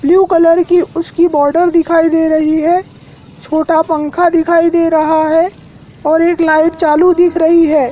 Blue colour की उसकी border दिखाई दे रही है। छोटा पंखा दिखई दे रहा है और एक लाइट चालू दिख रही है।